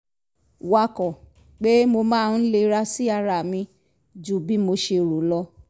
wakọ̀ pé mo máa ń lera sí ara mi ju bí mo ṣe rò lọ